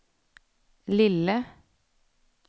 lille